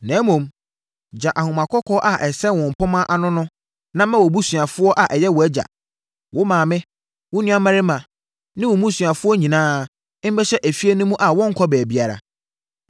na mmom, gya ahoma kɔkɔɔ a ɛsɛn wo mpomma ano no na ma wʼabusuafoɔ a ɛyɛ wʼagya, wo maame, wo nuammarima ne wɔn mmusuafoɔ nyinaa mmɛhyɛ efie no mu a wɔnnkɔ baabiara.